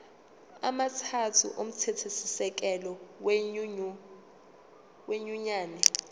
amathathu omthethosisekelo wenyunyane